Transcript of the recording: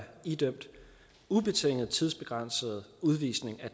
idømt ubetinget tidsbegrænset udvisning